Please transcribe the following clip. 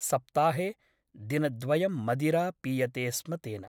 सप्ताहे दिनद्वयं मदिरा पीयते स्म तेन ।